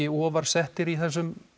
ofar settir í þessum